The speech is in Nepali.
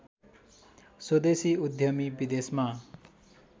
स्वदेशी उद्यमी विदेशमा